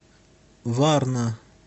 варна